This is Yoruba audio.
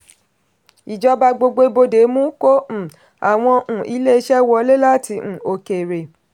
ìjọba gbogbo ibodè mú kó um àwọn um ilé iṣẹ́ wọlé láti um òkèèrè.